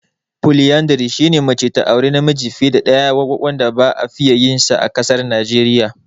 "Polyandry" shine mace ta auri namiji fiye da ɗaya wanda ba a fiye yi a ƙasar Najeriya ba.